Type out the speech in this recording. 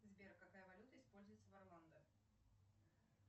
сбер какая валюта используется в орландо